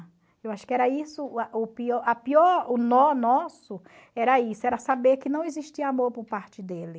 Eu acho que era isso, a pior, o nó nosso era isso, era saber que não existia amor por parte dele.